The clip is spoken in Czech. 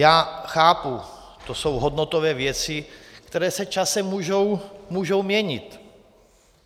Já chápu, to jsou hodnotové věci, které se časem mohou měnit.